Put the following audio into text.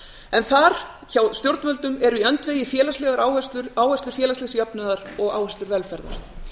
en þar hjá stjórnvöldum eru í öndvegi áherslur félagslegs jöfnunar og áherslur velferðar